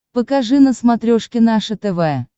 покажи на смотрешке наше тв